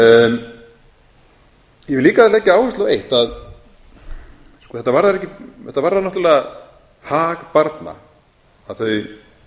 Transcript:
ég vil líka leggja áherslu á eitt þetta varðar náttúrlega hag barna að þau